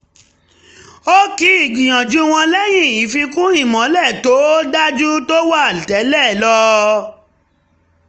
ó kí ìgbìnyanju wọn lẹ́yìn ìfíkún ìmọ́lẹ̀ tó dáa ju tó wà tẹ́lẹ̀ lọ